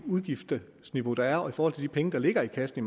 udgiftsniveau der er og i forhold til de penge der ligger i kassen